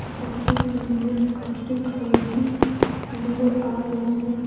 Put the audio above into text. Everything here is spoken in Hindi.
बच्चों के लिए कपड़े खरीदती नजर आ रही है।